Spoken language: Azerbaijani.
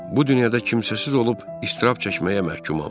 Bu dünyada kimsəsiz olub iztirab çəkməyə məhkumam.